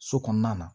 So kɔnɔna na